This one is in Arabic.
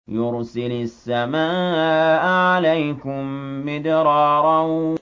يُرْسِلِ السَّمَاءَ عَلَيْكُم مِّدْرَارًا